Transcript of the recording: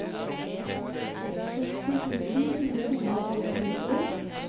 seksti tusen fire hundre og tjueen